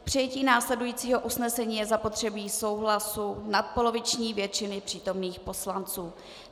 K přijetí následujícího usnesení je zapotřebí souhlasu nadpoloviční většiny přítomných poslanců.